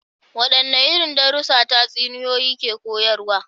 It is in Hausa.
Wadanne irin darussa tatsuniyoyi ke koyarwa?